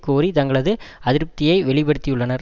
கோரி தங்களது அதிருப்தியை வெளி படுத்தியுள்ளனர்